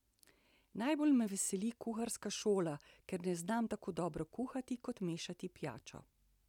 Najbolj me veseli kuharska šola, ker ne znam tako dobro kuhati kot mešati pijačo.